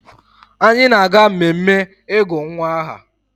Anyị na-aga mmemme ịgụ nwa aha